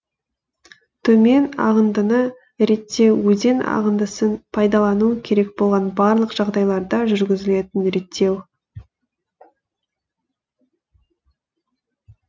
төмен ағындыны реттеу өзен ағындысын пайдалану керек болған барлық жағдайларда жүргізілетін реттеу